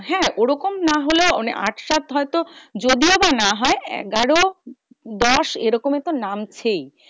হ্যাঁ ওরকম না হলেও মানে আট সাত হয়তো যদিও বা না হয় এগারো দশ এরকম তো নামছেই।